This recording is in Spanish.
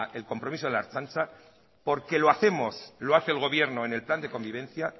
el compromiso de la ertzaintza porque lo hacemos lo hace el gobierno en el plan de convivencia